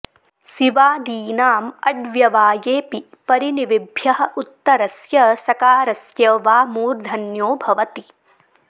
सिवादीनाम् अड्व्यवाये ऽपि परिनिविभ्यः उत्तरस्य सकारस्य वा मूर्धन्यो भवति